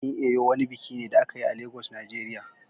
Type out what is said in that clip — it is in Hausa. Bikin Eyo wani biki ne da aka yi a Lagos Nigeria